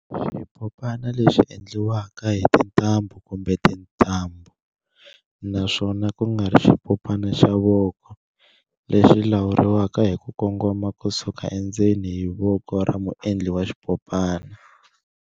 Xipopana lexi endliwaka hi tintambhu kumbe tintambhu, naswona kungari xipopana xa voko, lexi lawuriwaka hiku kongoma kusuka endzeni hi voko ra muendli wa swipopana.